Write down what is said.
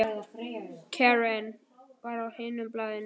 Karen var á hinu baðinu.